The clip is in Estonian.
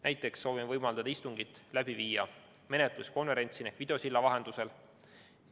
Näiteks soovime võimaldada istungit läbi viia menetluskonverentsina ehk videosilla vahendusel.